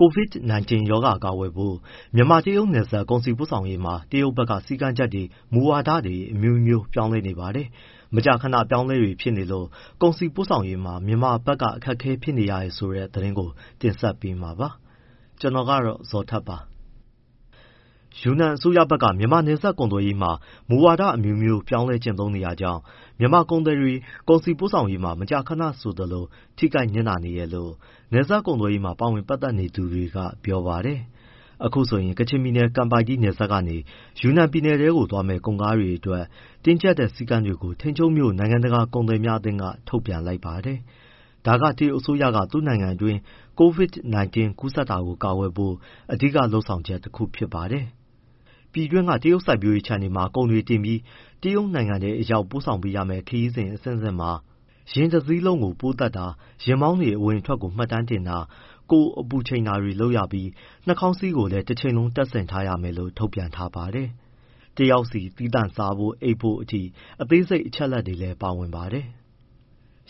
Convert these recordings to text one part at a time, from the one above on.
COVID-19 ရောဂါ ကာကွယ်ဖို့ မြန်မာ- တရုတ် နယ်စပ်ကုန်စည်ပို့ဆောင်ရေးမှာ တရုတ်ဘက်က စည်းကမ်းချက်တွေ၊ မူဝါဒတွေ အမျိုးမျိုး ပြောင်းနေပါတယ်။ မကြာခဏအပြောင်းအလဲတွေဖြစ်လို့ ကုန်စည်ပို့ဆောင်ရေးမှာ မြန်မာဘက်က အခက်အခဲ ဖြစ်ရတယ်ဆိုတဲ့ သတင်းကို ကိုဇော်ထက် တင်ဆက်ပေးမှာပါ။ ယူနန်အစိုးရဘက်က မြန်မာနဲ့ နယ်စပ်ကုန်သွယ်ရေးမှာ မူဝါဒအမျိုးမျိုးပြောင်းကျင့်သုံးတာကြောင့် မြန်မာ ကုန်သည်တွေ၊ ကုန်စည်ပို့ဆောင်ရေးတွေ မကြာခဏဆိုသလို ထိခိုက်နစ်နာနေတယ်လို့ နယ်စပ် ကုန်သွယ်ရေးမှာ ပါဝင်ပတ်သက် သူတွေက ပြောပါတယ်။ အခုဆိုရင် ကချင်ပြည်နယ် ကန်ပိုက်တီး နယ်စပ်ဂိတ်ကနေ ယူနန်ပြည်နယ်ထဲ သွားမယ့် ကုန်ကားတွေအတွက် တင်းကျပ်တဲ့ စည်းကမ်းတွေကို ထိန်ချုံးမြို့နိုင်ငံတကာကုန်သည်များအသင်းက ထုတ်ပြန်လိုက်ပါတယ်။ ဒါက တရုတ်အစိုးရက သူ့နိုင်ငံတွင်း COVID-19 ကူးစက်တာကို ကာကွယ်ဖို့ အဓိက လုပ်ဆောင်ချက်တခုပါ။ ပြည်တွင်းက တရုတ်စိုက်ပျိုးရေးခြံတွေမှာ ကုန်တွေတင်ပြီး တရုတ်နိုင်ငံထဲအရောက် ပို့ဆောင်ပေးရမယ့် ခရီးစဉ်အဆင့်အဆင့်တိုင်းမှာ ယာဉ်တစီးလုံး ပိုးသတ်တာ၊ ယာဉ်မောင်းတွေ အဝင်အထွက်ကို မှတ်တမ်းတင်တာ၊ ကိုယ်အပူချိန်တာတွေလုပ်ရပြီး နှာခေါင်းစည်းကို တချိန်လုံးတပ်ဆင်ထားရမယ်လို့ ထုတ်ပြန်ထားပါတယ်။ တယောက်စီ သီးသန့်စားဖို့၊ အိပ်ဖို့ အထိအသေးစိတ် အချက်အလက်တွေလည်း ပါဝင်ပါတယ်။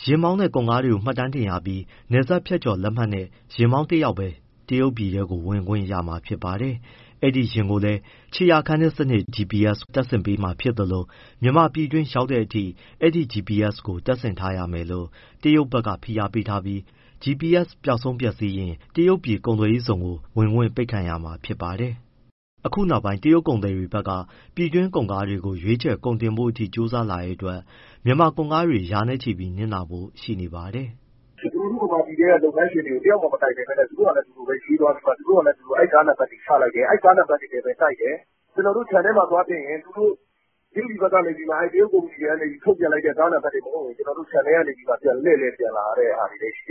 ယာဉ်မောင်းနဲ့ ကုန်ကားကို မှတ်ပုံတင်ရပြီး နယ်စပ်ဖြတ်ကျော်လက်မှတ်နဲ့ ယာဉ်မောင်းတယောက်ပဲ တရုတ်ပြည်ထဲ ဝင်ခွင့်ရမှာပါ။ အဲဒီယာဉ်ကိုလည်း ခြေရာခံစနစ် GPS တပ်ဆင်ပေးမှာဖြစ်သလို မြန်မာပြည်တွင်းရောက်တဲ့အထိ အဲဒီ GPS ကို တပ်ဆင်ထားရမယ်လို့ တရုတ်ဘက်က ဖိအားပေးထားပြီး GPS ပျောက်ဆုံးပျက်စီးရင် တရုတ်ပြည်ကုန်သွယ်ရေးဇုံ ဝင်ခွင့်ပိတ်ခံရမှာပါ။ အခုနောက်ပိုင်း တရုတ်ကုန်သည်တွေဘက်က ပြည်တွင်းကုန်ကားကို ရွေးချယ်၊ ကုန်တင်ဖို့အထိ ကြိုးစားလာလို့ မြန်မာကုန်ကားတွေရာနဲ့ချီ နစ်နာဖို့ရှိနေပါတယ်။ “ ကျနော်တို့ မြန်မာပြည်ထဲက လုပ်ငန်းရှင်တွေကို တယောက်မှ မတိုင်ပင်ပဲ သူတို့ဟာနဲ့သူတို့ ( ကုန်ကားတွေကို) ရွေးသွားပြီး ကားနံပတ်တွေ ချလိုက်တယ်။ အဲဒီကားနံပတ်တွေနဲ့ ( ကုန်) တိုက်တယ်။ ကျနော်တို့ ခြံထဲမှာ သွားတင်ရင် တရုတ်ကုမ္ပဏီတွေက ထုတ်ပြန်လိုက်တဲ့ ကားနံပတ်တွေ မဟုတ်ရင် ကျနော်တို့ ခြံထဲကနေ လှည့်ပြန်လာရတာရှိတယ်။ ဆီ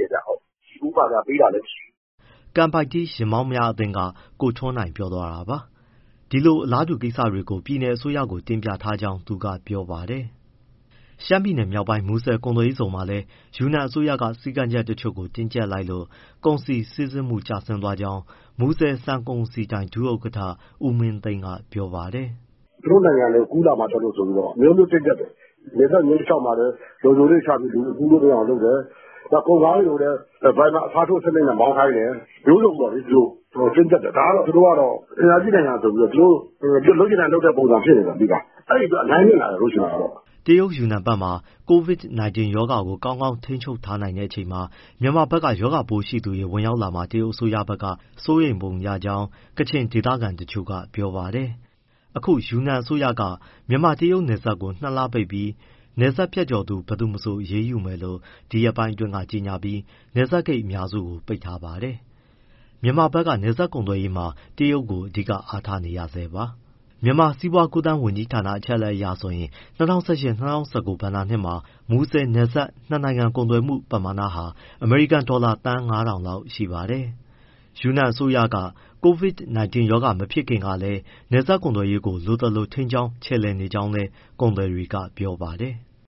ဖိုးပေးတာလည်းမရှိဘူး။” ကန်ပိုက်တီး ယာဉ်မောင်းများအသင်းက ကိုထွန်းနိုင် ပြောသွားတာပါ။ ဒီလို အလားတူကိစ္စတွေကို ပြည်နယ်အစိုးရကိုလည်း တင်ပြ ထားကြောင်း သူကပြောပါတယ်။ ရှမ်းပြည်မြောက်ပိုင်း မူဆယ်ကုန်သွယ်ရေးဇုန်မှာလည်း ယူနန်အစိုးရက စည်းကမ်းတချို့ကို တင်းကျပ်လိုက်လို့ ကုန်စည်စီးဆင်းမှု ကျသွားကြောင်း မူဆယ်ဆန်ကုန်စည်ဒိုင် ဒုဥက္ကဋ္ဌ ဦးမင်းသိန်းက ပြောပါတယ်။ “ သူတို့နိုင်ငံထဲ ကူးလာမှာကြောက်လို့ အမျိုးမျိုးတင်းကျပ်တယ်၊ နယ်စပ်မျဉ်းတလျှောက်မှာလည်း လုံခြုံရေးတွေချပြီး လူတွေ ကူးလို့ မရအောင်လုပ်တယ်၊ ကုန်ကားတွေကိုလည်း ဒါရိုင်ဘာ အစားထိုးစနစ်နဲ့ မောင်းခိုင်းတယ်၊ မျိုးစုံပေါ့ သူတို့ တင်းကျပ်တယ်။ ဒါကတော့ သူတို့က အင်အားကြီးနိုင်ငံဆိုပြီးတော့ လုပ်ချင်တိုင်း လုပ်တဲ့ပုံစံဖြစ်နေတယ်။ အဲဒီအတွက် အများကြီးနစ်နာတယ်။” တရုတ်ယူနန်ပြည်နယ်ဘက်မှာ COVID-19 ရောဂါကို ကောင်းကောင်းထိန်းချုပ်ထားနိုင်ချိန် မြန်မာဘက် ရောဂါပိုးရှိသူတွေ ဝင်ရောက်လာမှာ တရုတ်အစိုးရက စိုးရိမ်ပုံရကြောင်း ကချင်ဒေသခံတချို့ကပြောပါတယ်။ အခု ယူနန်အစိုးရက မြန်မာ- တရုတ်နယ်စပ်ကို ၂လပိတ်ပြီး၊ နယ်စပ်ဖြတ်ကျော်သူ ဘယ်သူမဆို အရေးယူမယ်လို့ ဒီရက်ပိုင်းအတွင်းက ကြေညာပြီး နယ်စပ်ဂိတ် အများစုကို ပိတ်ထားပါတယ်။ မြန်မာနိုင်ငံက နယ်စပ်ကုန်သွယ်ရေးမှာ တရုတ်ကို အဓိကအားထားနေရဆဲပါ။ မြန်မာစီးပွားကူးသန်း ဝန်ကြီးဌာန အချက်အလက်အရဆိုရင် ၂၀၁၈- ၂၀၁၉ ဘဏ္ဍာနှစ်မှာ မူဆယ်နယ်စပ် နှစ်နိုင်ငံကုန်သွယ်မှုပမာဏက အမေရိကန်ဒေါ်လာ သန်း ၅၀၀၀ လောက်ရှိပါတယ်။ ယူနန်အစိုးရက COVID-19 မဖြစ်ခင်ကလည်း နယ်စပ်ကုန်သွယ်ရေးကို လိုသလို ထိန်းကြောင်း ချယ်လှယ်နေကြောင်းလည်း ကုန်သည်တွေက ပြောပါတယ်။